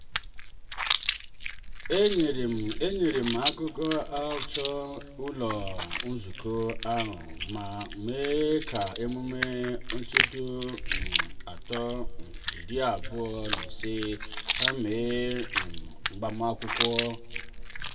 enyere m enyere m aka chọọ ụlọ nzukọ ahụ mma maka ememme ncheta um afọ um iri abụọ n'ise ha mere um n’agbamakwụkwọ.